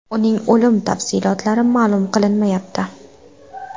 Uning o‘limi tafsilotlari ma’lum qilinmayapti.